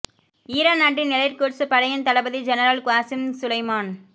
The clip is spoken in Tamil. ஈரான் நாட்டின் எலைட் குட்ஸ் படையின் தளபதி ஜெனரல் குவாசிம் சுலைமான்